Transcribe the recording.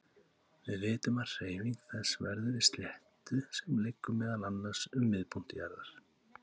Við vitum að hreyfing þess verður í sléttu sem liggur meðal annars um miðpunkt jarðar.